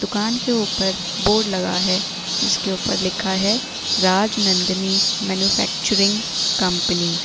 दुकान के ऊपर बोर्ड लगा है जिसके ऊपर लिखा है राजनंदनी मैन्युफैक्चरिंग कंपनी ।